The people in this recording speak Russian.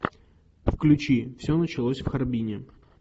включи все началось в харбине